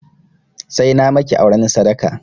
Sai na maki auren sadaka!